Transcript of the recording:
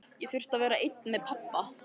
Ég þurfti að vera einn með pabba.